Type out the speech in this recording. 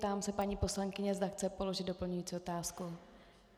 Ptám se paní poslankyně, zda chce položit doplňující otázku.